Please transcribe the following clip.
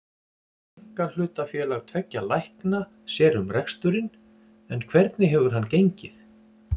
Einkahlutafélag tveggja lækna sér um reksturinn en hvernig hefur hann gengið?